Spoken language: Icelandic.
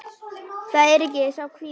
Það er sá kvíði.